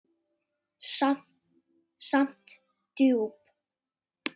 Samt djúp.